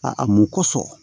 A a mun kɔsɔn